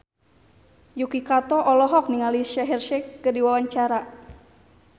Yuki Kato olohok ningali Shaheer Sheikh keur diwawancara